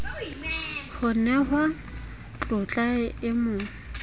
ho nehwa tlotla e mo